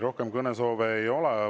Rohkem kõnesoove ei ole.